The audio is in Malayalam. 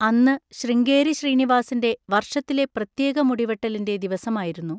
അന്ന് ശൃംഗേരി ശ്രീനിവാസിൻ്റെ വർഷത്തിലെ പ്രത്യേകമുടിവെട്ടലിൻ്റെ ദിവസമായിരുന്നു.